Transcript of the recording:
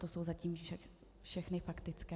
To jsou zatím všechny faktické.